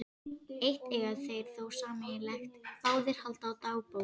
Eitt eiga þeir þó sameiginlegt- báðir halda dagbók.